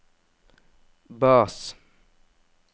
bass